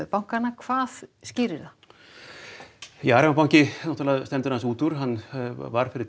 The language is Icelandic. bankanna hvað skýrir það ja Arion banki stendur upp úr varð fyrir